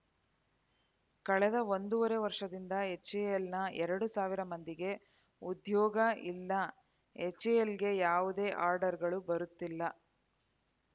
ಕಳೆದ ಒಂದೂವರೆ ವರ್ಷದಿಂದ ಎಚ್‌ಎಎಲ್‌ನ ಎರಡು ಸಾವಿರ ಮಂದಿಗೆ ಉದ್ಯೋಗ ಇಲ್ಲ ಎಚ್‌ಎಎಲ್‌ಗೆ ಯಾವುದೇ ಆರ್ಡರ್‌ಗಳು ಬರುತ್ತಿಲ್ಲ